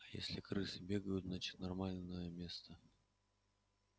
а если крысы бегают значит нормальное место